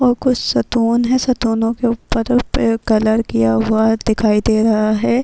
اور کچھ ستون ہیں ستون کے اوپر پہ کلر کیا ہوا دکھائی دے رہا ہے-